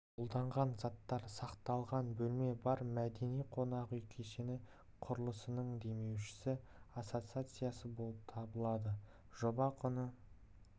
қолданған заттар сақталған бөлме бар мәдени-қонақ үй кешені құрылысының демеушісі ассоциациясы болып табылады жоба құны